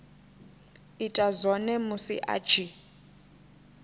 ita zwone musi a tshi